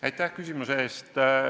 Aitäh küsimuse eest!